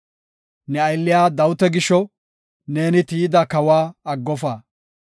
Ne aylliya Dawita gisho, neeni tiyida kawa aggofa.